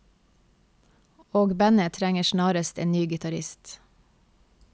Og bandet trenger snarest en ny gitarist.